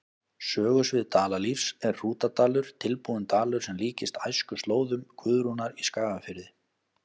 Sögusvið Dalalífs er Hrútadalur, tilbúinn dalur sem líkist æskuslóðum Guðrúnar í Skagafirði.